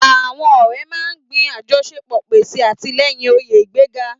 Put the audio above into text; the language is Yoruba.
Àwọn ọ̀rẹ́ máa ń gbin àjọṣepọ̀, pèsè àtìlẹ́yìn, òye ìgbéga.